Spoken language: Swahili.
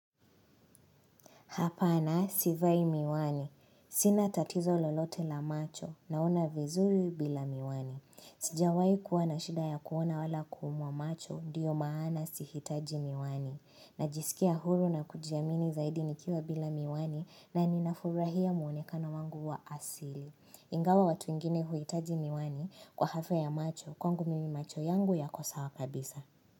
Hapana sivai miwani. Sina tatizo lolote la macho naona vizuri bila miwani. Sijawahi kuwa na shida ya kuona wala kuumwa macho ndiyo maana sihitaji miwani. Najisikia huru na kujiamini zaidi nikiwa bila miwani na ninafurahia muonekana wangu wa asili. Ingawa watu wengine huhitaji miwani kwa hafa ya macho kwangu mimi macho yangu yako sawa kabisa.